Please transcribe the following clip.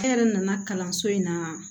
E yɛrɛ nana kalanso in na